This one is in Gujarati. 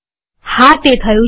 હા તે થયું છે